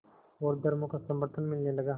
और धर्मों का समर्थन मिलने लगा